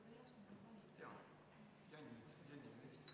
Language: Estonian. Meil oli siin ka üks väike tehniline probleem.